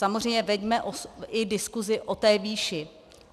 Samozřejmě veďme i diskusi o té výši.